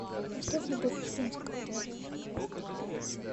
поставь любовь успенская